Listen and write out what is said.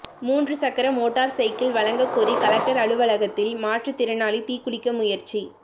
மூன்று சக்கர motor cycle வழங்கக்கோரி கலெக்டர் அலுவலகத்தில் மாற்றுத்திறனாளி தீக்குளிக்க முயற்சி